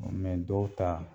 dɔw ta